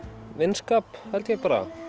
vinskap held ég bara